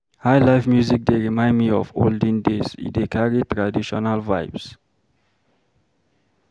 Highlife music dey remind me of olden days, e dey carry traditional vibes.